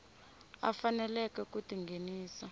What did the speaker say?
a faneleke ku ti nghenisa